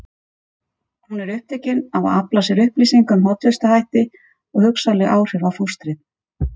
Hún er upptekin af að afla sér upplýsinga um hollustuhætti og hugsanleg áhrif á fóstrið.